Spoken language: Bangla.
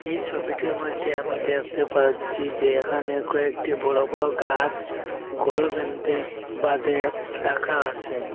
এই সবিটির মইধ্যে আমি দেখতে পাচ্ছি যে এখানে কয়েকটি বড় বড় গাস ঘর বেন্ধে বাঁধে রাখা আসে।